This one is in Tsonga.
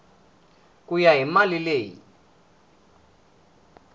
ku ya hi mali leyi